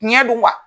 Ɲɛ do wa